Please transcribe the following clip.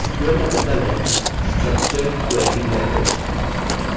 sql का मतलब है structured query language